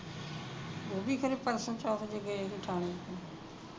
ਉਹ ਵੀ ਕਿਤੇ ਪਰਸੋਂ ਚੌਥ ਜਿਹੇ ਗਏ ਸੀ ਠਾਣੇ